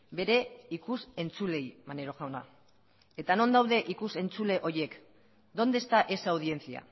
bere ikus entzuleei maneiro jauna eta non daude ikus entzule horiek dónde está esa audiencia